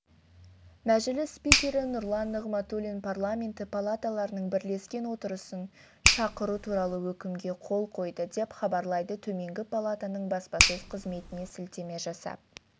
мәжіліс спикері нұрлан нығматулин парламенті палаталарының бірлескен отырысын шақыру туралы өкімге қол қойды деп хабарлайды төменгі палатаның баспасөз қызметіне сілтеме жасап